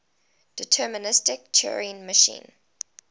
deterministic turing machine